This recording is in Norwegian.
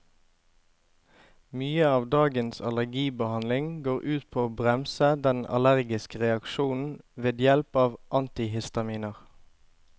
Mye av dagens allergibehandling går ut på å bremse den allergiske reaksjonen ved hjelp av antihistaminer.